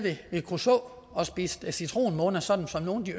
ved kruså og spist citronmåner sådan som nogle